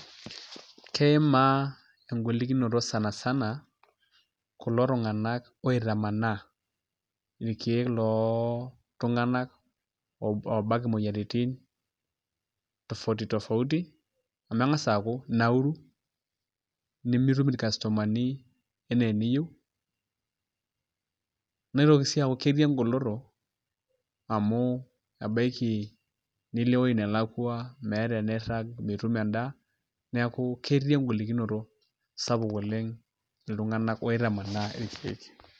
Keimaa engolikonot sanasana kulo tunganak oitamanaa, ilkeek loltunganak oobak imoyiaritin tofauti tofauti, amu enkas aaku inauru, nimitum ilkastomani enaa eneyieu, nitoki sii aaku ketii egoloto amu ebaiki nilo ewoji nelakua, meeta woji niirag, mitum endaa, neeku ketii engolikonot sapuk oleng' iltunganak oitamanaa ilkeek.